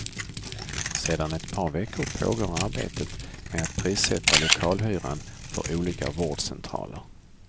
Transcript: Sedan ett par veckor pågår arbetet med att prissätta lokalhyran för olika vårdcentraler.